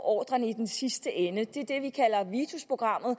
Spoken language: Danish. ordren i den sidste ende det er det vi kalder vitusprogrammet og